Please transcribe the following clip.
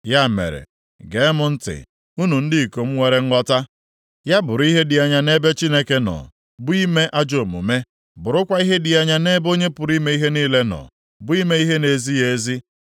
“Ya mere, geenụ m ntị, unu ndị ikom nwere nghọta. Ya bụrụ ihe dị anya nʼebe Chineke nọ, bụ ime ajọ omume, bụrụkwa ihe dị anya nʼebe Onye pụrụ ime ihe niile nọ, bụ ime ihe na-ezighị ezi.